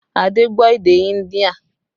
Adé gbọ́ èdè India